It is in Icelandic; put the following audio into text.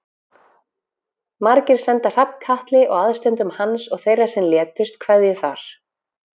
Margir senda Hrafnkatli og aðstandendum hans og þeirra sem létust kveðju þar.